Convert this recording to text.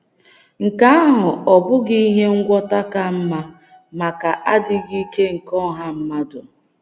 Nke ahụ ọ́ bụghị ihe ngwọta ka mma maka adịghị ike nke ọha mmadụ?